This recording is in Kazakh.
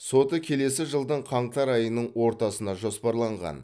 соты келесі жылдың қаңтар айының ортасына жоспарланған